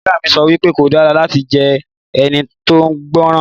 Ìyá mi sọ wípé o dára láti jẹ́ ẹni tóun gbọ́ràn